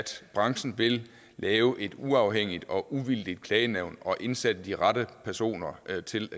branchen vil lave et uafhængigt og uvildigt klagenævn og indsætte de rette personer til